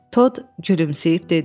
Tod gülümsüyüb dedi: